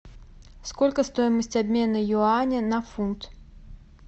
сколько стоимость обмена юаня на фунт